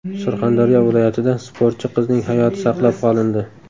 Surxondaryo viloyatida sportchi qizning hayoti saqlab qolindi.